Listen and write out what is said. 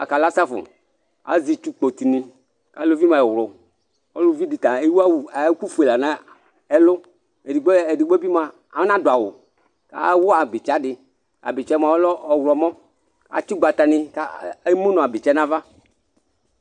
aka safʊ azitsu kpotini aluvi mue wlʊ ɔluvi ɔlluvi dita éwu awu ékufué lana ɛlũ edigbo edigbi mua ɔna duawʊ awʊ abitsa dï abitsa mua ɔlɛ ɔylɔmɔ atsu gbata ni ka emuna bitsa nava